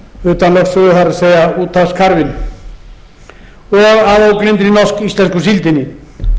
utan lögsögu það er úthafskarfinn að ógleymdri norsk íslensku síldinni